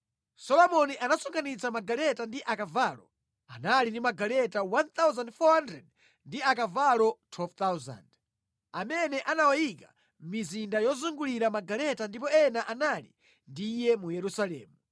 Solomoni anasonkhanitsa magaleta ndi akavalo; anali ndi magaleta 1,400 ndi akavalo 12,000, amene anawayika mʼmizinda yosungira magaleta ndipo ena anali ndi iye mu Yerusalemu.